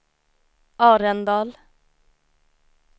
Arendal